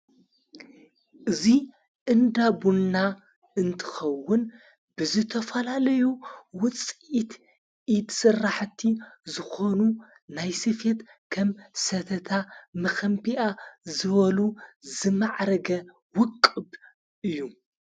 እዙይ እንዳቡንና እንትኸውን ብዘተፈላለዩ ውፅኢት ይትስራሕቲ ዝኾኑ ናይ ስፌት ከም ሰተታ ምኸንቢኣ ዝበሉ ዝማዕረገ ውቅብ እዩ።